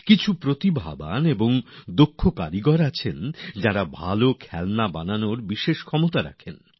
অনেক প্রতিভাবান ও দক্ষ কারিগর রয়েছেন যাঁরা ভালো খেলনা তৈরিতে নিপুন